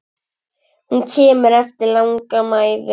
Hún kemur eftir langa mæðu.